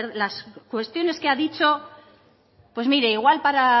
las cuestiones que ha dicho pues mire igual para